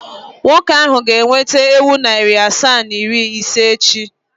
Nwoke ahụ ga-eweta ewu narị asaa na iri ise echi.